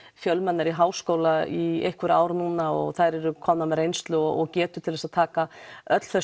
fjölmennari í háskóla í einhver ár núna og þær eru komnar með reynslu og getu til þess að taka öll þau